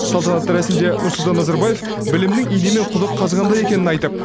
салтанатты рәсімде нұрсұлтан назарбаев білімнің инемен құдық қазғандай екенін айтып